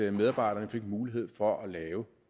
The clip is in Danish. at medarbejderne fik mulighed for at lave